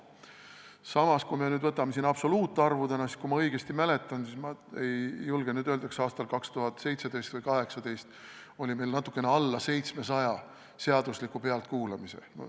Samas, kui võtame absoluutarvudena, siis kui ma õigesti mäletan – ma ei julge nüüd täpselt öelda –, kas aastal 2017 või 2018 oli meil natukene alla 700 seadusliku pealtkuulamise.